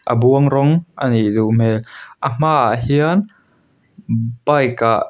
a buang rawng a nih duh hmel a hmaah hian bike ah --